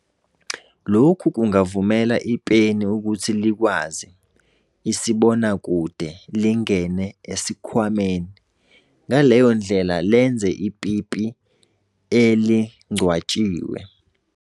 Lokhu kungavumela ipeni ukuthi likwazi "isibonakude" lingene esikhwameni, ngaleyo ndlela lenze ipipi elingcwatshiwe.